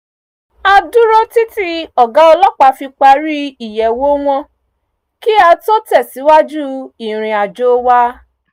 a dúró títí ọ̀gá ọlọ́pàá fi parí ìyẹ̀wò wọn kí á tó tẹ̀sìwájú ìriǹ àjò wa